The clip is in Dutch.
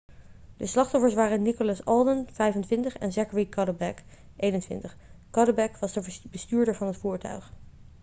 de slachtoffers waren nicholas alden 25 en zachary cuddeback 21 cuddeback was de bestuurder van het voertuig